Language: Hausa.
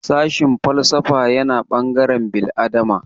Sashin falsafa yana ɓangaren bil'adama